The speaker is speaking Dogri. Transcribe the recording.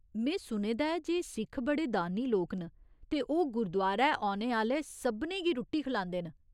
में सुने दा ऐ जे सिख बड़े दानी लोक न, ते ओह् गुरदुआरै औने आह्‌ले सभनें गी रुट्टी खलांदे न।